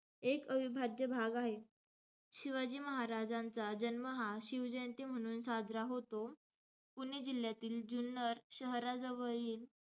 एक अविभाज्य भाग आहेत. शिवाजी महाराजांचा जन्म हा शिवजयंती म्हणून साजरा होतो. पुणे जिल्ह्यातील जुन्नर शहराजवळील,